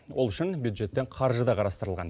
ол үшін бюджеттен қаржы да қарастырылған